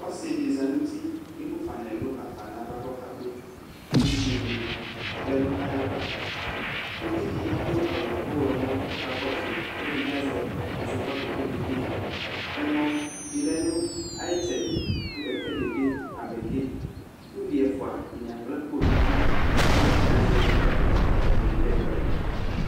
Ɔsɩ dɩ za nʋ uti kʋ emufa nʋ ɛlʋ ɣafa nʋ ava kʋ ɔkabɩ ; kʋ evidze dɩ lɛ nʋ ayʋ ava Ʋvi dɩ adʋ aɣʋ ɔɣlɔmɔ kʋ ɔka kɔsʋ yɩ, kʋ ɛdɩ bɩ azɛ ɛzɔkpako kʋ okede Ɛmɔ dɩ lɛ nʋ ayʋ ɩtsɛdɩ, kʋ kɛkɛ dɩ bɩ amɛ ke Kʋ ʋvi ɛfʋa dɩnɩ akpla akpo nʋ idu kʋ atanɩ azɛ ɛzɔkpako kʋ atanɩ kede ɛkʋ ɛdɩ